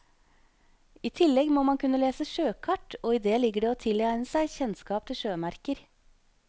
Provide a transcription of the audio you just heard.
I tillegg må man kunne lese sjøkart, og i det ligger det å tilegne seg kjennskap til sjømerker.